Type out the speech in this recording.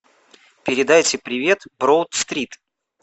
передайте привет броуд стрит